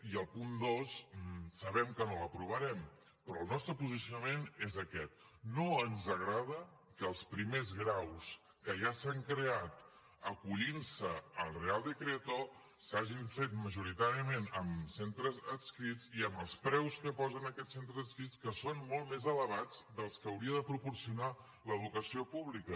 i el punt dos sabem que no l’aprovarem però el nostre posicionament és aquest no ens agrada que els primers graus que ja s’han creat acollint se al real decreto s’hagin fet majoritàriament amb centres adscrits i amb els preus que posen aquests centres adscrits que són molt més elevats dels que hauria de proporcionar l’educació pública